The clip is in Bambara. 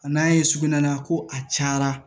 A nan'a ye sugunɛ la ko a cayara